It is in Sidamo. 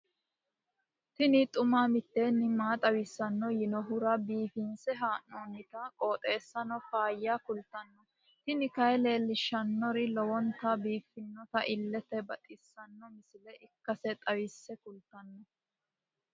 tini xuma mtini maa xawissanno yaannohura biifinse haa'noonniti qooxeessano faayya kultanno tini kayi leellishshannori lowonta biiffinota illete baxissanno misile ikkase xawisse kultanno.